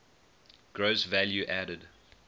gross value added